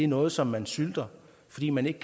noget som man sylter fordi man ikke